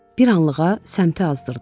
Bir anlığa səmtini azdırdı.